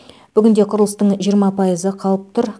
бүгінде құрылыстың жиырма пайызы қалып тұр